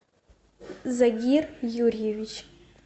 загир юрьевич